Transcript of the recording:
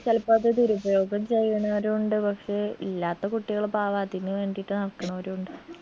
ചെലപ്പോ അത് ദുരുപയോഗം ചെയ്യണവരു ഉണ്ട് പക്ഷെ ഇല്ലാത്ത കുട്ടികള് പാവോ അതിന് വേണ്ടീട്ട് നടക്കണവരു ഉണ്ട്